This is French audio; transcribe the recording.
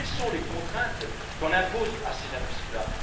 Quelles sont les contraintes qu'on impose à ces industries là?